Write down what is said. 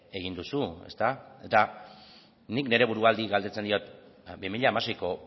egin duzu eta nik neure buruari galdetzen diot bi mila hamaseiko